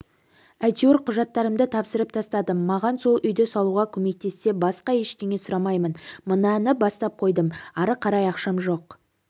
әйтеуір құжаттарымды тапсырып тастадым маған сол үйді салуға көмектессе басқа ештеңе сұраймаймын мынаны бастап қойдым ары қарай ақшам жоқ